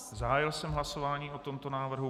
Zahájil jsem hlasování o tomto návrhu.